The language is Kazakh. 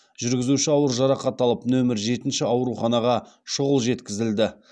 жүргізуші ауыр жарақат алып нөмір жетінші ауруханаға шұғыл жеткізілді